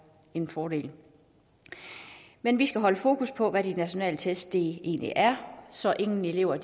en fordel men vi skal holde fokus på hvad de nationale test egentlig er så ingen elever